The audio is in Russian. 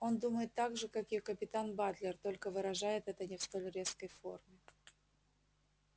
он думает так же как и капитан батлер только выражает это не в столь резкой форме